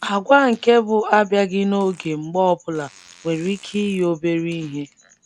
Àgwà nke bụ abịaghị n'oge mgbe ọ bụla nwere ike iyi obere ihe.